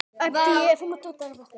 æpti ég.